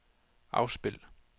afspil